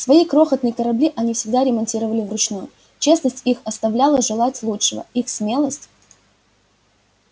свои крохотные корабли они всегда ремонтировали вручную честность их оставляла желать лучшего их смелость